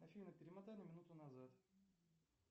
афина перемотай на минуту назад